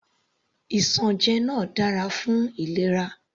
Isanje náà dára fún ìlera.